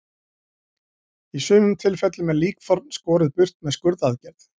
Í sumum tilfellum er líkþorn skorið burt með skurðaðgerð.